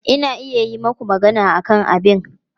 Ina iya yi maku magana akan abin?